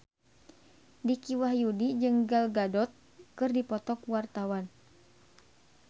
Dicky Wahyudi jeung Gal Gadot keur dipoto ku wartawan